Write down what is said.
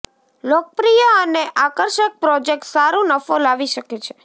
લોકપ્રિય અને આકર્ષક પ્રોજેક્ટ સારું નફો લાવી શકે છે